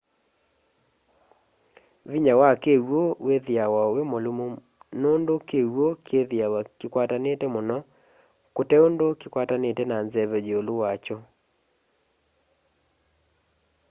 vĩnya wa kĩw'ũ wĩthĩawa wĩmũlũmũ nũndũ kĩw'ũ kĩthĩawa kĩkwatanĩte mũno kũteũndũ kĩkwatanĩte na nzeve yĩũlũ wa kyo